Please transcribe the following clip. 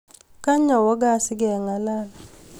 Kany awe gaa sigengalal